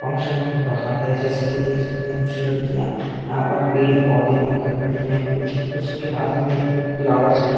Function हो रहा है जैसे कि देख सकते हैं कुछ लड़कियां यहाँ पर पेड़ पौधे बनकर खड़ी है कुछ कुछ के हाथ में फ्लावर्स है।